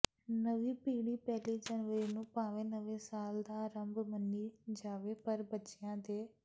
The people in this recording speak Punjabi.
ਨਵੀਂ ਪੀੜ੍ਹੀ ਪਹਿਲੀ ਜਨਵਰੀ ਨੂੰ ਭਾਵੇਂ ਨਵੇਂ ਸਾਲ ਦਾ ਆਰੰਭ ਮੰਨੀ ਜਾਵੇ ਪਰ ਬੱਚਿਆਂ ਦੇ